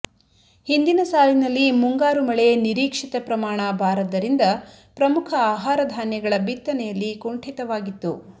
ಹಿಂದಿನ ಸಾಲಿನಲ್ಲಿ ಮುಂಗಾರು ಮಳೆ ನಿರೀಕ್ಷಿತ ಪ್ರಮಾಣ ಬಾರದ್ದರಿಂದ ಪ್ರಮುಖ ಆಹಾರ ಧಾನ್ಯಗಳ ಬಿತ್ತನೆಯಲ್ಲಿ ಕುಂಠಿತವಾಗಿತ್ತು